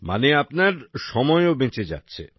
মানে আপনার সময়ও বেঁচে যাচ্ছে